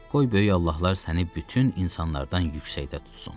Qoy böyük Allahlar səni bütün insanlardan yüksəkdə tutsun.